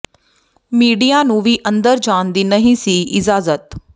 media ਨੂੰ ਵੀ ਅੰਦਰ ਜਾਣ ਦੀ ਨਹੀਂ ਸੀ ਇਜਾਜ਼ਤ